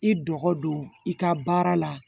I dɔgɔ don i ka baara la